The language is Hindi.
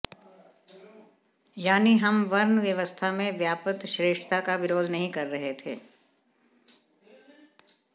यानी हम वर्ण व्यवस्था में व्याप्त श्रेष्ठता का विरोध नहीं कर रहे थे